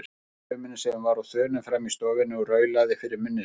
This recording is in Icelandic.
Heyrði í dömunni sem var á þönum frammi í stofunni og raulaði fyrir munni sér.